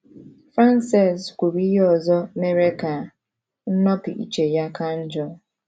Frances kwuru ihe ọzọ mere ka nnopụ iche ya ka njọ.